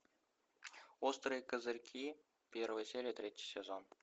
острые козырьки первая серия третий сезон